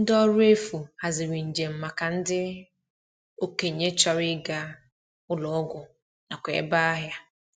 Ndi ọrụ efu haziri njem maka ndị okenye chọrọ ịga ụlọ ọgwụ nakwa ebe ahịa.